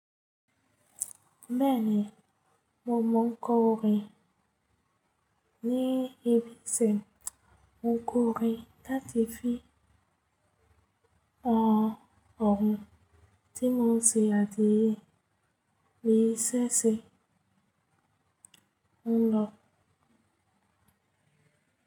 Bẹẹni, mo mọ kórìn ní ibi sẹ. Mo kórìn tàtí fi ọọ̀rọ̀ tí mò ń ṣe àdíẹ ìṣẹ̀ṣẹ̀ ọlọ.